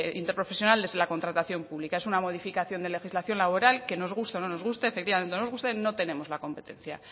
interprofesional desde la contratación pública es una modificación de legislación laboral que nos guste o no nos guste efectivamente no nos gusta no tenemos la competencia